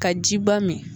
Ka jiba min